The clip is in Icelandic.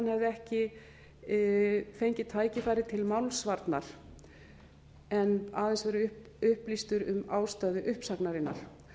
hefði ekki fengið tækifæri til málsvarnar en aðeins verið upplýstur um ástæðu uppsagnarinnar